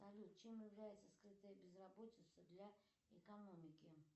салют чем является скрытая безработица для экономики